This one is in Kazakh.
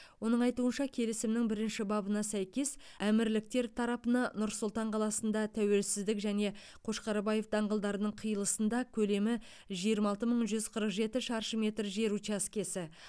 оның айтуынша келісімнің бірінші бабына сәйкес әмірліктер тарапына нұр сұлтан қаласында тәуелсіздік және қошқарбаев даңғылдарының қиылысында көлемі жиырма алты мың жүз қырық жеті шаршы метр жер учаскесі